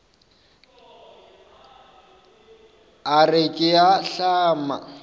a re ke a ahlama